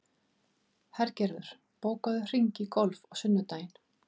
Hergerður, bókaðu hring í golf á sunnudaginn.